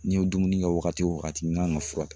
N'i ye dumuni kɛ waagati o waagati n'i kan ka fura ta.